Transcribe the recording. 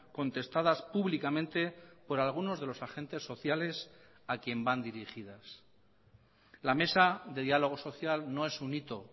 contestadas públicamente por algunos de los agentes sociales a quien van dirigidas la mesa de diálogo social no es un hito